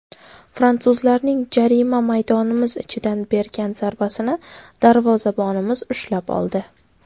Fransuzlarning jarima maydonimiz ichidan bergan zarbasini darvozabonimiz ushlab oldi.